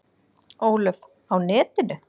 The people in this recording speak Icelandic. Ólöf: Á netinu?